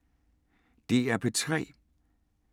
DR P3